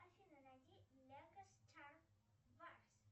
афина найди лего стар варс